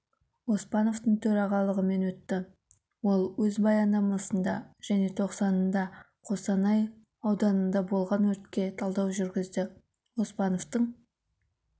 оспановтың төрағалығымен өтті ол өз баяндамасында және тоқсанында қостанай ауданында болған өртке талдау жүргізді оспановтың